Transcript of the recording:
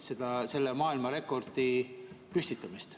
Loodame selle maailmarekordi püstitamist.